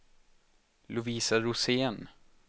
Lovisa Rosén